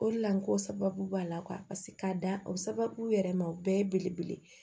O de la n ko sababu b'a la k'a da o sababu yɛrɛ ma o bɛɛ ye belebele ye